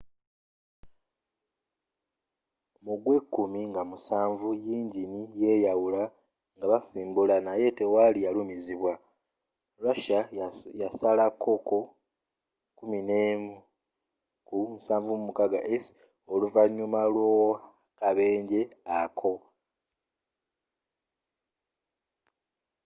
mu gwekkumi nga 7 yingini yeyawula ngabasimbula naye tewali yalumizibwa russia yasalakoko il-76s oluvanyuma lwakabenje ako